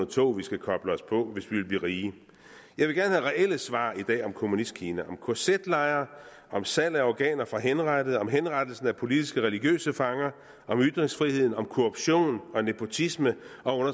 tog vi skal koble os på hvis vi vil blive blive rige jeg vil gerne have reelle svar i dag om kommunistkina om kz lejre om salg af organer fra henrettede om henrettelse af politiske og religiøse fanger om ytringsfrihed om korruption og nepotisme og